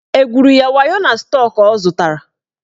Egwuru ya wayo na stọk ọ zụtara?